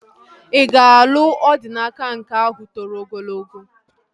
Ị ga-alụ Odinaka nke ahụ toro ogologo?